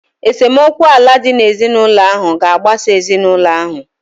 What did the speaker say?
Esemokwu ala dị n'ezinụlọ ahụ ga-agbasa ezinụlọ ahụ.